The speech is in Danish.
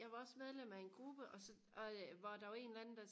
jeg var også medlem af en gruppe og så og øh hvor der var en eller anden der